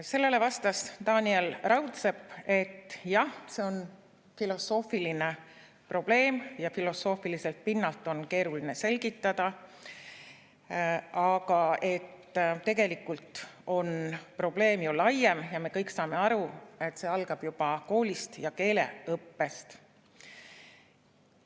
Sellele vastas Taaniel Raudsepp, et jah, see on filosoofiline probleem ja filosoofiliselt pinnalt on keeruline selgitada, aga tegelikult on probleem laiem ja me kõik saame aru, et see algab juba koolist ja keeleõppest.